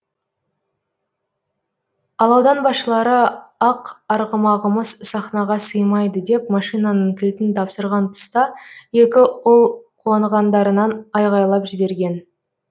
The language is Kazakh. ал аудан басшылары ақ арғымағымыз сахнаға сыймайды деп машинаның кілтін тапсырған тұста екі ұл қуанғандарынан айғайлап жіберген